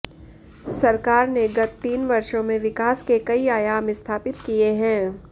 सरकार ने गत तीन वर्षों में विकास के कई आयाम स्थापित किए हैं